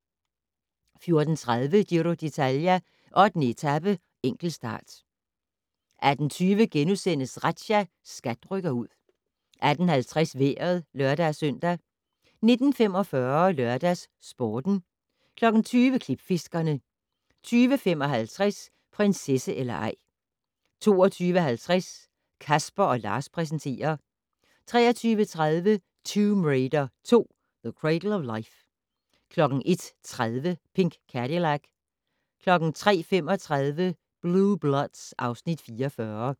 14:30: Giro d'Italia: 8. etape, enkeltstart 18:20: Razzia - SKAT rykker ud * 18:50: Vejret (lør-søn) 19:45: LørdagsSporten 20:00: Klipfiskerne 20:55: Prinsesse eller ej 22:50: Casper & Lars præsenterer 23:30: Tomb Raider 2: The Cradle of Life 01:30: Pink Cadillac 03:35: Blue Bloods (Afs. 44)